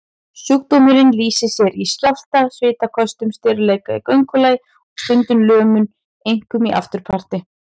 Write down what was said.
Sjúkdómurinn lýsir sér í skjálfta, svitaköstum, stirðleika í göngulagi og stundum lömun, einkum í afturparti.